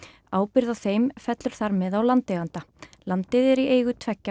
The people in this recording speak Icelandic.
ábyrgð á þeim fellur þar með á landeiganda landið er í eigu tveggja